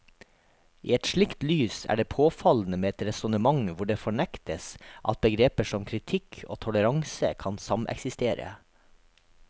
I et slikt lys er det påfallende med et resonnement hvor det fornektes at begreper som kritikk og toleranse kan sameksistere.